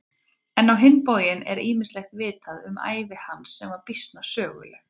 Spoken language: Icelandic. En á hinn bóginn er ýmislegt vitað um ævi hans sem var býsna söguleg.